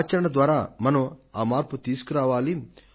ఆచరణ ద్వారా మనం ఆ మార్పు తీసుకురావాలి